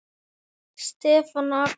Stefán og Axel.